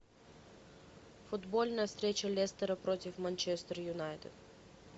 футбольная встреча лестера против манчестер юнайтед